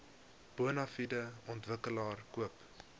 bonafide ontwikkelaar koop